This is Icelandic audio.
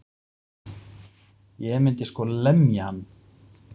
Ég myndi sko lemja hann.